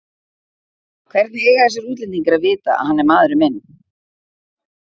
Hvernig eiga þessir útlendingar að vita að hann er maðurinn minn?